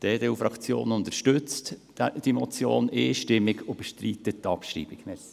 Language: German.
Die EDUFraktion unterstützt diese Motion einstimmig und bestreitet deren Abschreibung.